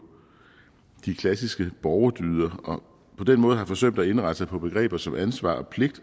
de klassiske borgerdyder og på den måde har forsømt at indrette sig på begreber som ansvar og pligt